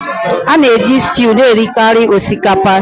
A na-eji stew na-erikarị osikapa